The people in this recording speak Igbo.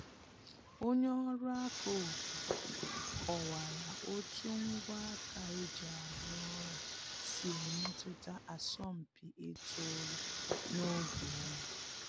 Onye ọrụ aka obodo kọwara otu ngwa aka e ji arụ ọrụ si emetụta asọmpi ịtụ ụlọ n’oge oyi